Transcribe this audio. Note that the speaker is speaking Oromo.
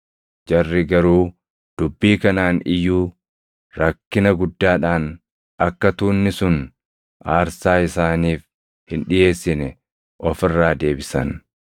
Jarri garuu dubbii kanaan iyyuu rakkina guddaadhaan akka tuunni sun aarsaa isaaniif hin dhiʼeessine of irraa deebisan.